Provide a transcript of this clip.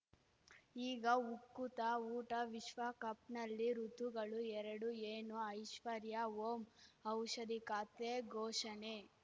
ಈಗ ಉಕುತ ಊಟ ವಿಶ್ವಕಪ್‌ನಲ್ಲಿ ಋತುಗಳು ಎರಡು ಏನು ಐಶ್ವರ್ಯಾ ಓಂ ಔಷಧಿ ಖಾತೆ ಘೋಷಣೆ